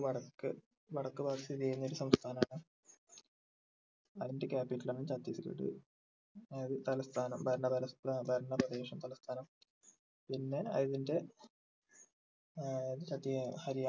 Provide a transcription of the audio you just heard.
വടക്കൻ വടക്ക് ഭാഗത്ത് സ്ഥിതി ചെയ്യുന്ന ഒരു സംസ്ഥാനം ആണ് അതിൻ്റെ capital ആണ് ചത്തീസ്ഗഡ് അതായത് തലസ്ഥാനം ഭരണ തലസ്ഥാ ഭരണ പ്രദേശം സംസ്ഥാനം പിന്നെ അതിന്റെ ഏർ ചത്തി ഹര്യാ